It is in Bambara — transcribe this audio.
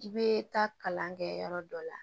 I bɛ taa kalan kɛ yɔrɔ dɔ la